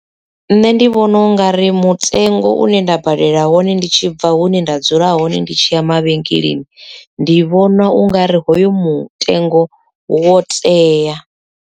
Nṋe ndi vhona ungari mutengo une nda badela wone ndi tshi bva hune nda dzula hone ndi tshi ya mavhengeleni ndi vhona ungari hoyo mutengo wo tea.